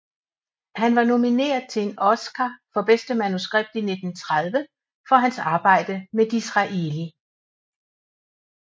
Han var nomineret til en Oscar for bedste manuskript i 1930 for hans arbejde med Disraeli